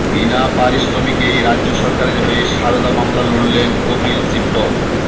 বিনা পারিশ্রমিকেই রাজ্য সরকারের হয়ে সারদা মামলা লড়লেন কপিল সিব্বল